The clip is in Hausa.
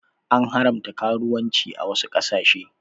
An haramta karuwanci a wasu ƙasashe.